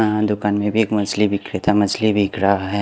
अ दुकान में भी एक मछली बिक्रेता मछली बिक रहा है।